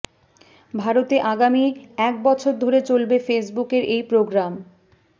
ভারতে আগামী এক বছর ধরে চলবে ফেসবুকের এই প্রোগ্রাম